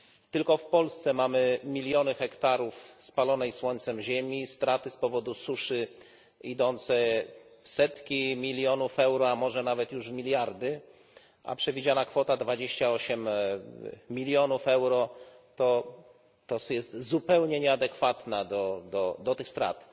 Tylko w Polsce mamy miliony hektarów spalonej słońcem ziemi, straty z powodu suszy idące w setki milionów euro, a może nawet już w miliardy, a przewidziana kwota dwudziestu ośmiu milionów euro jest zupełnie nieadekwatna do tych strat.